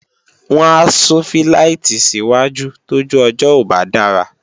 wọ́n á sún fíláìtì sí wájú tójú ọjọ́ ò bá dára